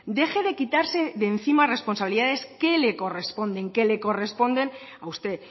deje de quitarse de encima responsabilidades que le corresponden que le corresponden a usted